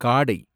காடை